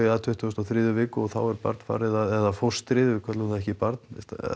að tuttugustu og þriðju viku þá er barnið eða fóstrið við köllum það ekki barn